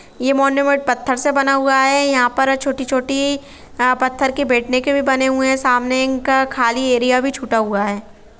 ये मोन्यूमेंट पत्थर से बना हुआ है यहाँ पर छोटी- छोटी आ-पत्थर के बैठने के भी बने हुए है सामने इनका खाली एरिया भी छूटा हुआ है।